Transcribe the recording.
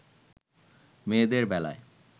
মেয়েদের বেলায়